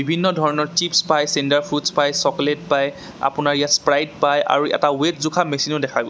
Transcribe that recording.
বিভিন্ন ধৰণৰ চিপ্ছ পাই চেন্টাৰ ফ্ৰুটছ পাই চকলেট পাই আপোনাৰ ইয়াত স্প্ৰাইট পাই আৰু এটা ৱেট জোখা মেচিনো দেখা গৈছে।